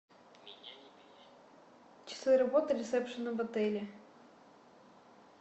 часы работы ресепшена в отеле